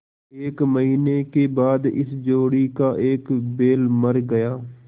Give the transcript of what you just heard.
एक महीने के बाद इस जोड़ी का एक बैल मर गया